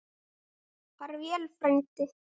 Far vel frændi.